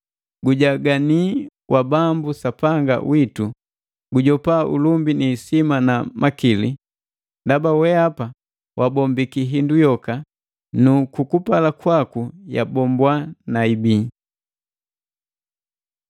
“Gujagani wa Bambu Sapanga witu, kujopa ulumbi ni isima na makili. Ndaba weapa wabombiki hindu yoka, nu kukupala kwaku yabombwa na ibii.”